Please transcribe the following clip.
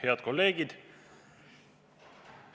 Head kolleegid!